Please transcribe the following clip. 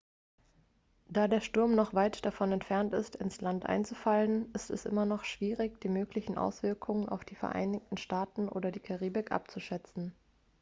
da der sturm noch weit davon entfernt ist ins land einzufallen ist es immer noch schwierig die möglichen auswirkungen auf die vereinigten staaten oder die karibik abzuschätzen